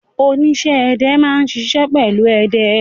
Oníṣẹ́-ẹdẹ máa ń ṣiṣẹ́ pẹ̀lú ẹdẹ.